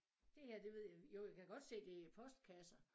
Det her det ved jeg jo jeg kan godt se det er postkasser